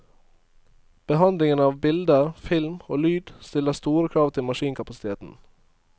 Behandlingen av bilder, film og lyd stiller store krav til maskinkapasiteten.